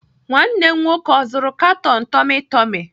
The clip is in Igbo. Nwanne m nwoke ọ zụrụ katon tummy tummy?